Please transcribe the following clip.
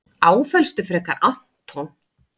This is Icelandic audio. Áfellstu frekar Anton.